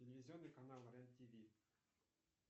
телевизионный канал рен тв